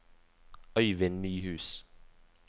Øyvind Nyhus